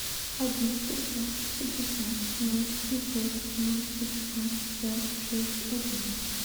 один пятьсот пятьдесят ноль семьсот ноль пятьдесят пять шесть один